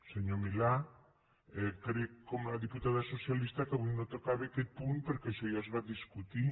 senyor milà crec com la diputada socialista que avui no tocava aquest punt perquè això ja es va discutir